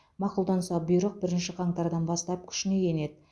мақұлданса бұйрық бірінші қаңтардан бастап күшіне енеді